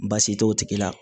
Baasi t'o tigi la